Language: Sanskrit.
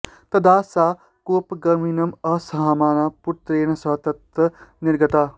तदा सा कोपाग्निम् असहमाना पुत्रेण सह ततः निर्गता